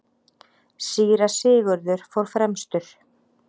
Síra Sigurður fór fremstur.